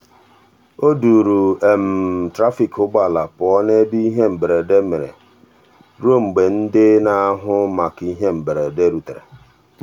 o duuru trafik ụgbọala pụọ n'ebe ihe mberede mere ruo mgbe ndị n'ahụ maka ihe mberede rutere.